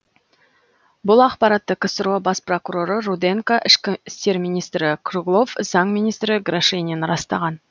бұл ақпаратты ксро бас прокуроры руденко ішкі істер министрі круглов заң министрі грошенин растаған